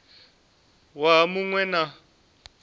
waha mu ṅ we na